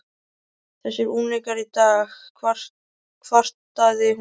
Þessir unglingar í dag kvartaði hún.